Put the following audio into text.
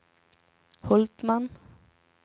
Hultman